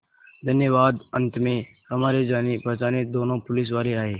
धन्यवाद अंत में हमारे जानेपहचाने दोनों पुलिसवाले आए